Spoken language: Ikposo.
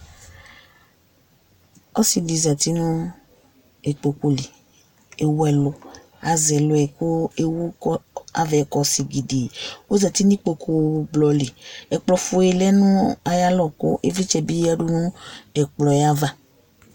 Ɔsɩ dɩ zati nʋ ikpoku li Ewu ɛlʋ, azɛ ɛlʋ yɛ kʋ ewu kɔ azɛ kɔ sigidii Ɔzati nʋ ikpokublɔ li Ɛkplɔfue lɛ nʋ ayalɔ kʋ ɩvlɩtsɛ bɩ yǝdu nʋ ɛkplɔ yɛ ava